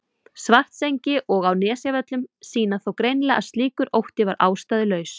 Svartsengi og á Nesjavöllum sýna þó greinilega að slíkur ótti var ástæðulaus.